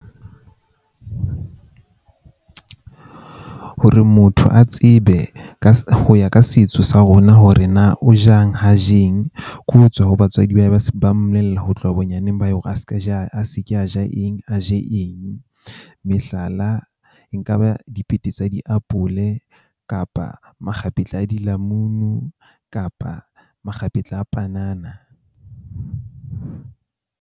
Hore motho a tsebe ka ho ya ka setso sa rona hore na o jang ha je eng. Ke ho tswa ho batswadi ba ba mmolella ho tloha bonyaneng a ska ja, a se ke a ja eng, a je eng. Mehlala e nka ba dipete tsa diapole kapa makgapetla a dilamunu kapa makgapetla a panana.